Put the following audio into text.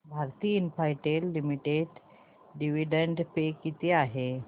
Bharti Infratel limited dividend pay किती आहे